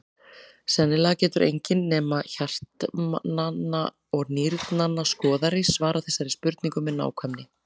Sennilega getur enginn nema hjartnanna og nýrnanna skoðari svarað þessari spurningu með nákvæmni.